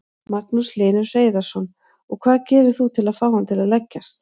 Magnús Hlynur Hreiðarsson: Og hvað gerir þú til að fá hann til að leggjast?